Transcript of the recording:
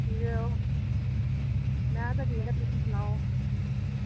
ਕਿਵੇਂ ਓ ਮੈ ਤਾਂ ਠੀਕ ਆ ਤੁਸੀ ਸੁਣਾਓ